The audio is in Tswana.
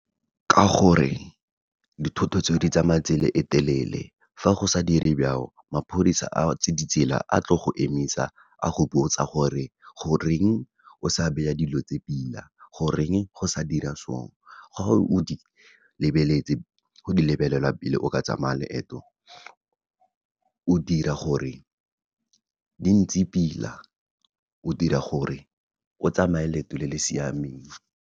Ka gore, dithoto tseo di tsamaya tsela e telele, fa go sa dire maphodisa a tse ditsela, a tlo go emisa a go botsa gore, goreng o sa dilo tse pila, goreng o sa dira so, go di lebelela pila o ka tsamaya leeto o dira gore di ntse pila, o dira gore o tsamaya leeto le le siameng.